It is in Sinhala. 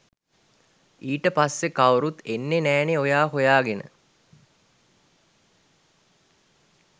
ඊට පස්සෙ කවුරුත් එන්නෙ නෑනේ ඔයා හොයාගෙන